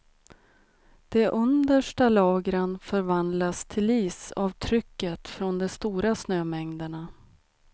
De understa lagren förvandlas till is av trycket från de stora snömängderna.